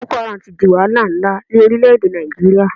Ìja àwọn Boko Haram ti di wahala nlá ní orílẹ̀ èdè Nàìjíríà